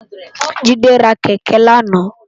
Jide rá kèkè làná